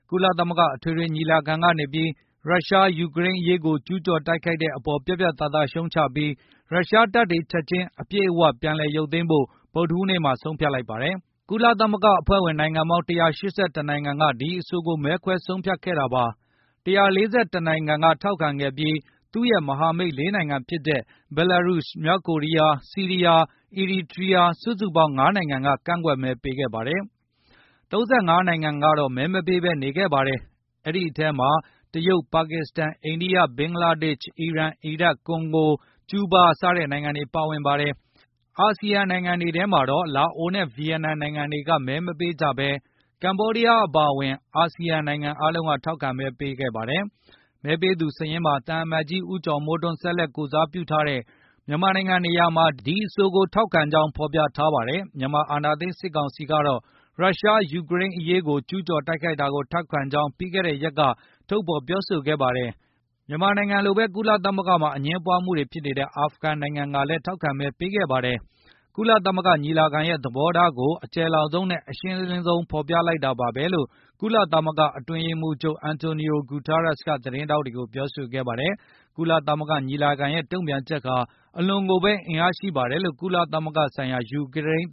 ကုလသမဂ္ဂ အထွေထွေညီလာခံကနေပြီး ရုရှားက ယူကရိန်းကိုကျူးကျော် တိုက်ခိုက်တဲ့ အပေါ်ပြတ်ပြတ်သားသားရုတ်ချလိုက်ပြီး၊ ရုရှားတပ်တွေချက်ခြင်း အပြည့်အဝပြန်လည်ရုတ်သိမ်းဖို့ ဗုဒ္ဓဟူးနေ့မှာဆုံးဖြတ်ကြေညာခဲ့ပါတယ်။ ကုလသမဂ္ဂအဖွဲ့ဝင်နိုင်ငံပေါင်း ၁၈၁ နိုင်ငံက ဒီအဆိုကိုမဲခွဲဆုံးဖြတ်ခဲ့တာပါ။ ၁၄၁ နိုင်ငံက ထောက်ခံခဲ့ပြီး၊ ရုရှားနဲ့ သူ့ရဲ့မဟာမိတ် ၄ နိုင်ငံဖြစ်ကြတဲ့ ဘဲလာရုစ် ၊ မြောက်ကိုရီးယား၊ ဆီးရီးယား၊ အီရီတြီယားစုစုပေါင်း ၅ နိုင်ငံကသာ ကန့်ကွက်မဲပေးခဲ့ပါတယ်။ ၃၅ နိုင်ငံကတော့ မဲမပေးဘဲနေခဲ့ပါတယ်။ အဲဒီအထဲ မှာ တရုတ်၊ ပါကစ္စတန်၊ အိန္ဒိယ၊ ဘင်္ဂလားဒေ့ရှ်၊ အီရန်၊ အီရတ်၊ ကွန်ဂိုစတဲ့နိုင်ငံတွေ ပါဝင်ပါတယ်။ အစီယံနိုင်ငံတွေထဲမှာတော့ လာအိုနဲ့ ဗီယက်နမ်နိုင်ငံတွေက မဲမပေးကြဘဲ ကမ္ဘောဒီးယားအပါအဝင် အာဆီယံနိုင်ငံတွေကထောက်ခံမဲ ပေးခဲ့ကြပါတယ်။ မဲပေးသူများစာရင်းမှာ သံအမတ်ကြီး ဦးကျော်မိုးထွန်းဆက်လက်ကိုယ်စားပြု ထားတဲ့မြန်မာနိုင်ငံနေရာမှာတော့ ဒီအဆိုကိုထောက်ခံကြောင်းဖေါ်ပြထားပါတယ်။ မြန်မာအာဏာသိမ်းစစ်ကောင်စီကတော့ ရုရှားကယူကရိန်းကိုကျူး ကျော်တိုက်ခိုက်တာကိုထောက်ခံကြောင်း ပြီးခဲ့တဲ့ရက်က ထုတ်ဖေါ်ပြောဆိုခဲ့ပါတယ်။ မြန်မာနိုင်ငံလိုဘဲ ကုလသမဂ္ဂမှာ အငြင်းပွားမှုတွေဖြစ်နေတဲ့ အာဖဂန်နိုင်ငံက လည်းထောက်ခံမဲပေးခဲ့ပါတယ်။ ကုလသမဂ္ဂညီလာခံရဲ့ သဘောထားကို အကျယ်လောင်ဆုံးနဲ့ အရှင်းလင်း ဆုံးဖေါ်ပြလိုက်တာပါဘဲလို့ ကုလသမဂ္ဂအတွင်းရေးမှုးချုပ် Antonio Guterres က သတင်းထောက်တွေကိုပြောဆိုခဲ့ပါတယ်။ ကုလသမဂ္ဂညီလာခံရဲ့တုံပြန်ချက်ဟာ အလွန်ကိုဘဲ အင်အားရှိပါတယ် လို့ ကုလဆိုင်ရာ ယူကရိန်း